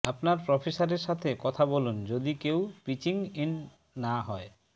আপনার প্রফেসরের সাথে কথা বলুন যদি কেউ পিচিং ইন না হয়